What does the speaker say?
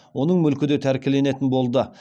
оның мүлкі де тәркіленетін болды